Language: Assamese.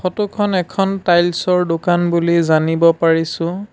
ফটো খন এখন টাইলছ ৰ দোকান বুলি জানিব পাৰিছোঁ।